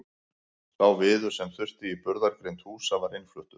Sá viður sem þurfti í burðargrind húsa var innfluttur.